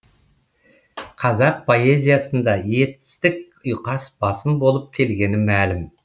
қазақ поэзиясында етістік ұйқас басым болып келгені мәлім